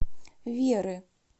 веры